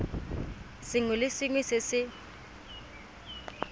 sengwe le sengwe se se